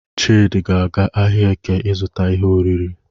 Chidị ga-aga ahịa Eke izụta ihe oriri.